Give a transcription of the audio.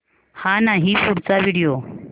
हा नाही पुढचा व्हिडिओ